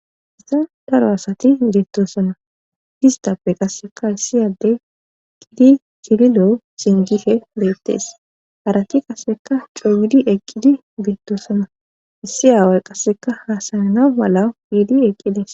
isa daro asati bbeettosana distappe qasseka issiyade qidi cililo singife beettees harati qasseka cooyidi eqqidi beettosana issi aaway qasseka haasayana malawu iidi eqqides